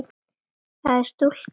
það er stúlkan mín.